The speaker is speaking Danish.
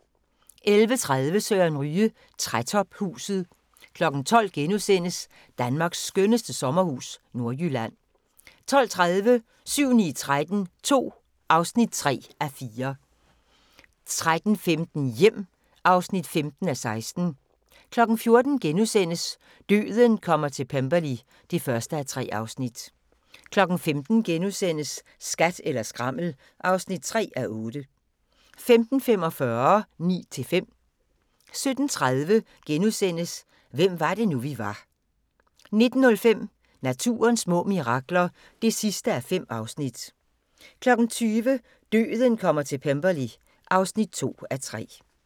11:30: Søren Ryge: Trætophuset 12:00: Danmarks skønneste sommerhus – Nordjylland * 12:30: 7-9-13 II (3:4) 13:15: Hjem (15:16) 14:00: Døden kommer til Pemberley (1:3)* 15:00: Skat eller skrammel (3:8)* 15:45: Ni til fem 17:30: Hvem var det nu, vi var * 19:05: Naturens små mirakler (5:5) 20:00: Døden kommer til Pemberley (2:3)